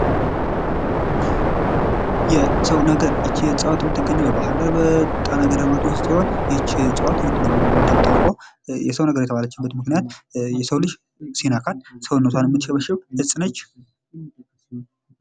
የሰዉ ነገር ይች እፅዋት የምትገኘዉ በባህርዳር በጣና ገዳማት ዉስጥ ሲሆን ይች እፅዋት እንደሚታወቀዉ የሰዉ ነገር የተባለችበት ምክንያት የሰዉ ልጅ ሲነካት ሰዉነቷን የምትሸበሽብ እፅ ነች።